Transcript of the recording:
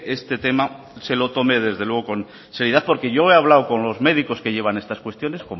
este tema se lo tome desde luego con seriedad porque yo he hablado con los médicos que llevan estas cuestiones